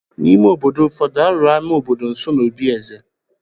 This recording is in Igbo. N’ime obodo ụfọdụ, a rụrụ ámá obodo nso n’obí eze.